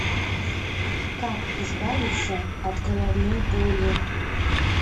как избавиться от головной боли